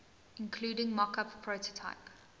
including mockup prototype